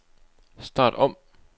start om